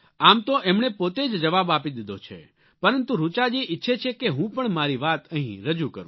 આમ તો એમણે પોતે જ જવાબ આપી દીધો છે પરંતુ ઋચાજી ઈચ્છે છે કે હું પણ મારી વાત અહીં રજૂ કરું